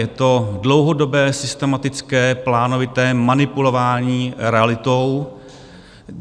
Je to dlouhodobé, systematické, plánovité manipulování realitou.